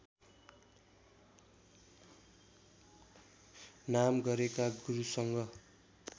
नाम गरेका गुरुसँग